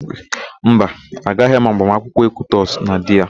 Mba, agaghị m agbamakwụkwọ Ekwutọsị na di ya.